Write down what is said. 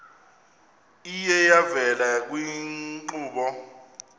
iye yavela kwiinkqubo